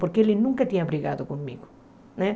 Porque ele nunca tinha brigado comigo, né?